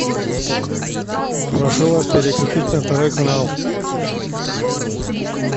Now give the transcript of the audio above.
прошу вас переключить на второй канал